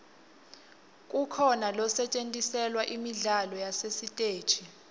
kukhona losetjentiselwa imidlalo yasesiteji